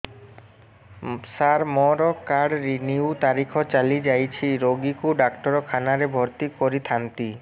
ସାର ମୋର card renew ତାରିଖ ଚାଲି ଯାଇଛି ରୋଗୀକୁ ଡାକ୍ତରଖାନା ରେ ଭର୍ତି କରିଥାନ୍ତି